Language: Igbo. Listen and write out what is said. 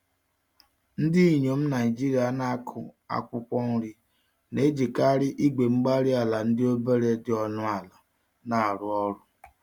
Ndinyom Nigeria n'akụ akwụkwọ nri, n'ejikarị igwe-mgbárí-ala ndị obere dị ọnụ ala, narụ ọrụ